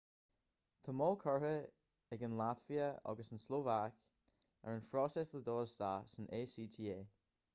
tá moill curtha ag an laitvia agus an tslóvaic ar an phróiseas le dul isteach san acta